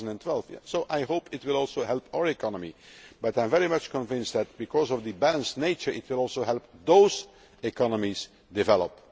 2012. So I hope it will also help our economy but I am very much convinced that, because of its balanced nature, it will also help those economies develop.